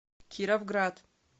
кировград